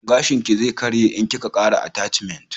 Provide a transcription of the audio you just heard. Gashin ki zai karye in ki ka kara atashmant